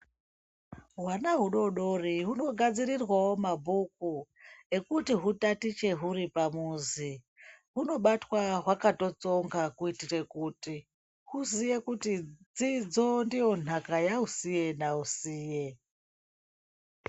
Hwana hudodori hunogadzirirwawo mabhuku ekuti hutatiche huri pamuzi hunobatwa hwakatitsonga kuitire kuti huziye kuti dzidzo bdiyo ntaka yausiye nausiye.